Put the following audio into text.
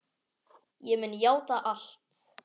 Ég mun játa allt.